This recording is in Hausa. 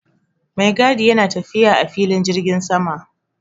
Maigadi yana tafiya a filin jirgin sama